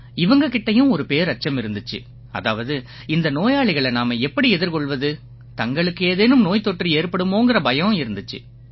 இவங்க கிட்டயும் ஒரு பேரச்சம் இருந்திச்சு அதாவது இந்த நோயாளிகளை நாம எப்படி எதிர்கொள்வது தங்களுக்கு ஏதேனும் நோய்த்தொற்று ஏற்படுமோங்கற பயம் இருந்திச்சு